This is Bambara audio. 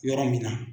Yɔrɔ min na